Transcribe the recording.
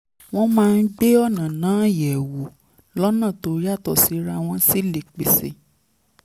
wọ́n máa ń gbé ọ̀ràn náà yẹ̀ wò lọ́nà tó yàtọ̀ síra wọ́n sì lè pèsè